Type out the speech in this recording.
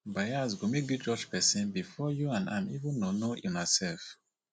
bias go make you judge pesin before you and am even know know unaself